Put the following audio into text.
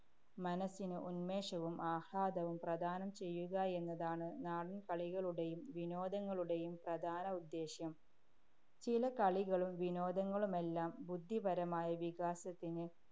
മനസ്സിന് ഉന്മേഷവും, ആഹ്ലാദവും പ്രദാനം ചെയ്യുക എന്നതാണ് നാടന്‍ കളികളുടെയും വിനോദങ്ങളുടെയും പ്രധാന ഉദ്ദേശ്യം. ചില കളികളും വിനോദങ്ങളുമെല്ലാം ബുദ്ധിപരമായ വികാസത്തിന്